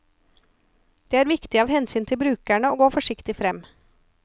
Det er viktig av hensyn til brukerne å gå forsiktig frem.